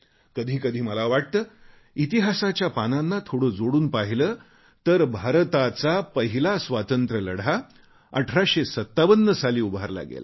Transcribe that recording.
कधी कधी मला वाटते इतिहासाच्या पानांना थोडे जोडून पाहिले तर भारताचा पहिला स्वातंत्र्य लढा 1857 साली उभारला गेला